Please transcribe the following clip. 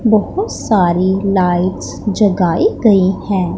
बहोत सारी लाइट्स जगाई गई है।